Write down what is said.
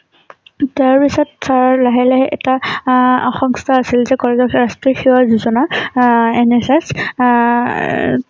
তাৰ পিছত তাৰ লাহে লাহে এটা আঅসম সংস্থা আছিল জী কলেজ ৰ ওচৰৰ আহ NSS আহ এ